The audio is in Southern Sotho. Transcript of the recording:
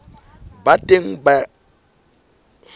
ba teng ka dipuo tse